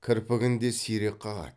кірпігін де сирек қағады